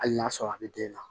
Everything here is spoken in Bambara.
Hali n'a sɔrɔ a bɛ den na